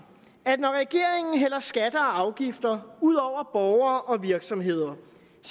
at når regeringen hælder skatter og afgifter ud over borgere og virksomheder